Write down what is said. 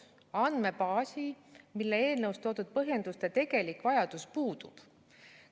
Andmebaasi, millel eelnõus toodud põhjenduste tegelik vajadus puudub.